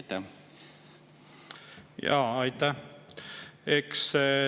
Aitäh!